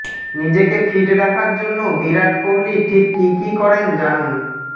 নিজেকে ফিট রাখার জন্য বিরাট কোহলি ঠিক কী কী করেন জানুন